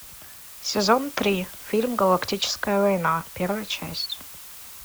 сезон три фильм галактическая война первая часть